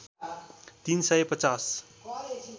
३ सय ५०